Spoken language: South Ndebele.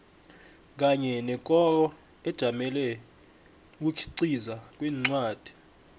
kanye nekoro ejamele ukukhiqiza kwencwadi